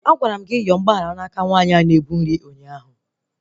Agwara m gị yọọ mgbaghara na aka onye na-ebu nri ụnyaahụ!